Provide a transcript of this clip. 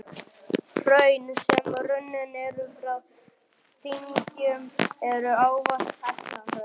Hraun, sem runnin eru frá dyngjum, eru ávallt helluhraun.